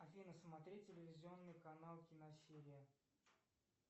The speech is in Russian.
афина смотреть телевизионный канал киносерия